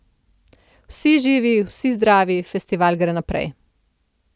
Vsi živi, vsi zdravi, festival gre naprej.